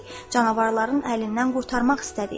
Canavarların əlindən qurtarmaq istədik.